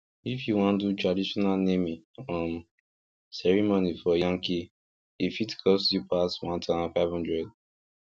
if you wan do traditional naming um ceremony for yankee e fit cost you pass one thousand five hundred